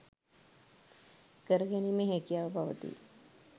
කර ගැනීමේ හැකියාව පවතී.